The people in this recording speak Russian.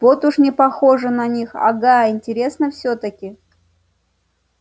вот уж не похоже на них ага интересно всё-таки